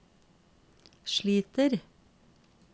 sliter